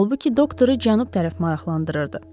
Halbuki doktoru cənub tərəf maraqlandırırdı.